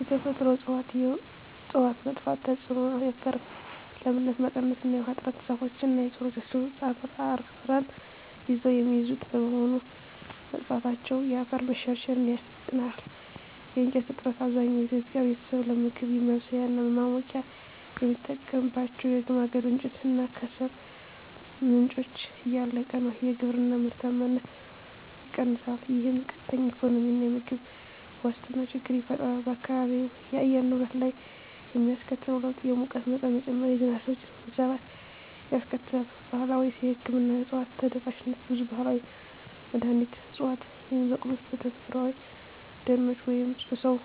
የተፈጥሮ እፅዋት መጥፋት ተጽዕኖ የአፈር ለምነት መቀነስ እና የውሃ እጥረ ዛፎች እና ሥሮቻቸው አፈርን ይዘው የሚይዙት በመሆኑ፣ መጥፋታቸው የአፈር መሸርሸርን ያፋጥነዋል። የእንጨት እጥረት፣ አብዛኛው የኢትዮጵያ ቤተሰብ ለምግብ ማብሰያ እና ለማሞቂያ የሚጠቀምባቸው የማገዶ እንጨት እና ከሰል ምንጮች እያለቁ ነው። የግብርና ምርታማነት ይቀንሳል፣ ይህም ቀጥተኛ የኢኮኖሚና የምግብ ዋስትና ችግር ይፈጥራል። በአካባቢው የአየር ንብረት ላይ የሚያስከትለው ለውጥ የሙቀት መጠን መጨመር፣ የዝናብ ስርጭት መዛባት ያስከትላል። ባህላዊ የሕክምና እፅዋት ተደራሽነት ብዙ ባህላዊ መድኃኒት ዕፅዋት የሚበቅሉት በተፈጥሮአዊ ደኖች ወይም በሰው